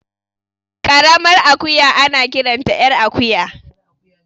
Ƙaramar akuya ana kiranta ƴar akuya